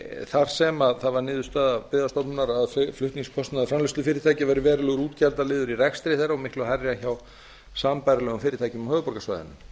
þar sem það var niðurstaða byggðastofnunar að flutningskostnaður framleiðslufyrirtækja væri verulegur útgjaldaliður í rekstri þeirra og miklu hærri en hjá sambærilegum fyrirtækjum á